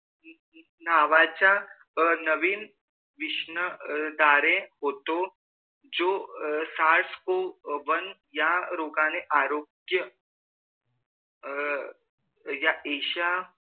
नावाचा नविन्न विश्न दारे होतो जो सासगो वन या रोगने आरोग्य अ या एशिया